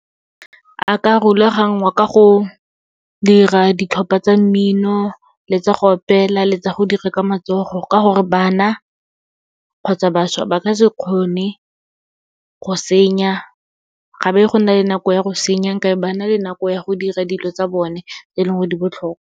A ka rulagangwa ka go dira ditlhopha tsa mmino, le tsa go opela, le tsa go dira ka matsogo. Ka gore, bana kgotsa bašwa, ba ka se kgone go senya, ga be go nna le nako ya go senya, nka be ba na le nako ya go dira dilo tsa bone, e leng gore di botlhokwa.